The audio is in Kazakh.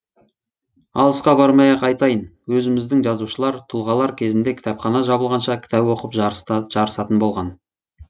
алысқа бармай ақ айтайын өзіміздің жазушылар тұлғалар кезінде кітапхана жабылғанша кітап оқып жарысатын болған